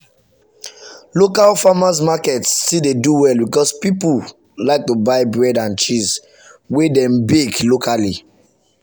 local farmers market still dey do well because people like to buy bread and cheese wey dem bake locally.